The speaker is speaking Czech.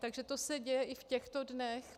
Takže to se děje i v těchto dnech.